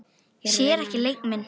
Sér ekki leik minn.